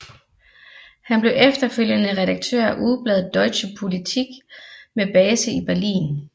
Han blev efterfølgende redaktør af ugebladet Deutsche Politik med base i Berlin